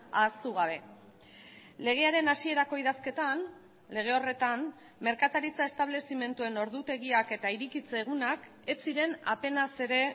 ahaztu gabe legearen hasierako idazketan lege horretan merkataritza establezimenduen ordutegiak eta irekitze egunak ez ziren apenas ere